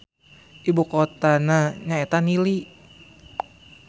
Ibu kotana nyaeta Nili.